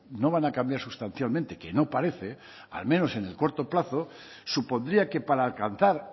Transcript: no van a cambiar sustancialmente que no parece al menos en el corto plazo supondría que para alcanzar